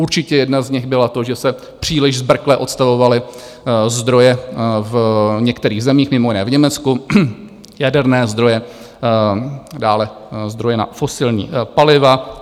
Určitě jedna z nich byla to, že se příliš zbrkle odstavovaly zdroje v některých zemích, mimo jiné v Německu, jaderné zdroje, dále zdroje na fosilní paliva.